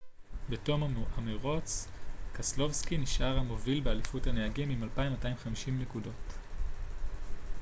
בתום המרוץ קסלובסקי נשאר המוביל באליפות הנהגים עם 2,250 נקודות